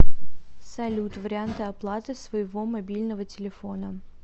салют варианты оплаты своего мобильного телефона